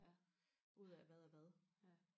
ud af hvad er hvad